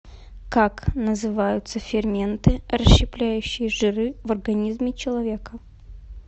как называются ферменты расщепляющие жиры в организме человека